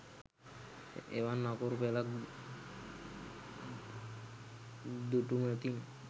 එවන් අකුරු පෙළක් දුටුමතින්